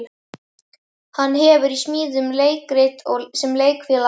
Hann hefur í smíðum leikrit sem Leikfélag